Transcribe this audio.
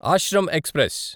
Ashram express